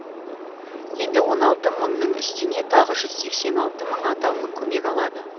енді он алты мыңның үстіне тағы жүз сексен алты мың атаулы көмек алады